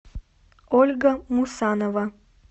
ольга мусанова